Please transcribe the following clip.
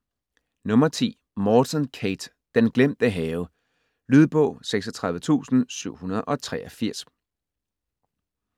Morton, Kate: Den glemte have Lydbog 36783